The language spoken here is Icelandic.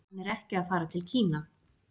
Hann er ekki að fara til Kína